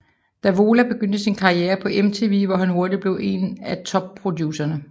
Davola begyndte sin karrierer på MTV hvor han hurtigt blev en af top producerne